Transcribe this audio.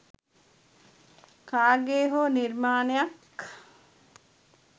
කාගේ හෝ නිර්මාණයක්